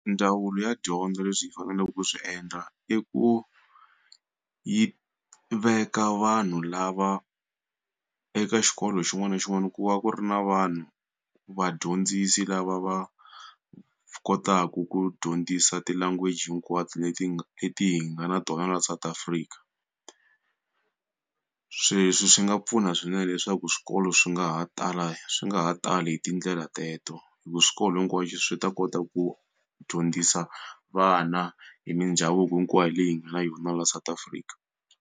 Ndzawulo ya dyondzo leswi yi faneleke ku swi endla i ku yi veka vanhu lava eka xikolo xin'wana na xin'wana ku va ku ri na vanhu vadyondzisi lava va kotaku ku dyondzisa ti-language hinkwato leti hi nga leti hi nga na tona la South Africa sweswi swi nga pfuna swinene leswaku swikolo swi nga nga ha tala swi nga ha tali hi tindlela teto hi ku swikolo hinkwaswo swi ta kota ku dyondzisa vana hi mindhavuko hinkwayo leyi hi nga na yona la South Afrika